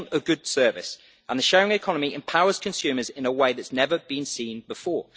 They want a good service, and the sharing economy empowers consumers in a way that has never been seen before.